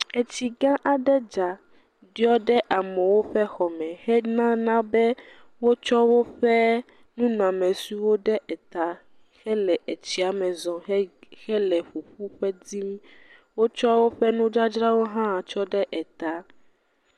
Etsigã aɖe dza, ɖiɔ ɖe amewo ƒe xɔme henana be wotsɔ woƒe nunɔamesiwo ɖe eta hele etsia me zɔm hele ƒuƒu ƒe dim. Wotsɔ woƒe nudzadzrawo hã tsɔ ɖe eta.